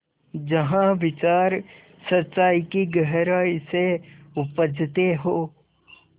जहाँ विचार सच्चाई की गहराई से उपजतें हों